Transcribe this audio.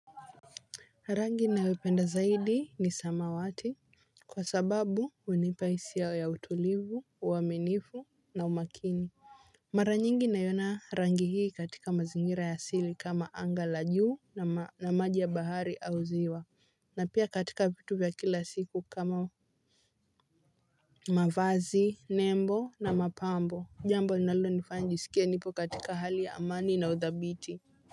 Rangi ninayoipenda zaidi ni samawati kwa sababu hunipa hisia ya utulivu, uaminifu na umakini. Mara nyingi naiona rangi hii katika mazingira ya asili kama anga la juu na maji ya bahari au ziwa na pia katika vitu vya kila siku kama mavazi, nembo na mapambo jambo linalonifanya nijisikie nipo katika hali ya amani na uthabiti.